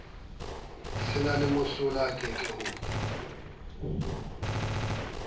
se na mosola eke ho